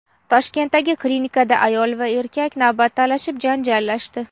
Toshkentdagi klinikada ayol va erkak navbat talashib, janjallashdi.